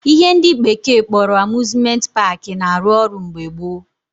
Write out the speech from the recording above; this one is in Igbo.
Ihe ndị bekee kpọrọ Amuzmenti paakị na arụ ọrụ mgbe gboo